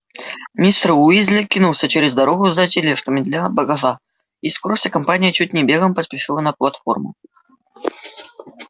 мистер уизли кинулся через дорогу за тележками для багажа и скоро вся компания чуть не бегом поспешила на платформу